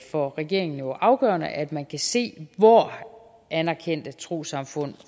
for regeringen afgørende at man kan se hvor anerkendte trossamfund